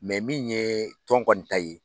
min ye tɔn kɔni ta ye.